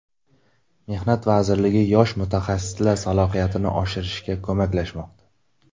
Mehnat vazirligi yosh mutaxassislar salohiyatini oshirishga ko‘maklashmoqda.